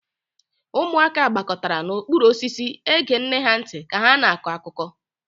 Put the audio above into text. Ụmụaka gbakọtara n'okpuru osisi ege nne ha ntị ka ha na-akọ akụkọ.